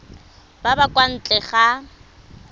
ba ba kwa ntle ga